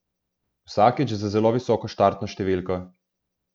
Vsakič z zelo visoko štartno številko.